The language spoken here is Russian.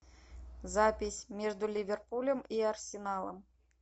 запись между ливерпулем и арсеналом